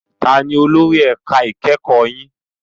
Taani olórí ẹ̀ka ẹ̀kọ́ yín?